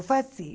Foi assim.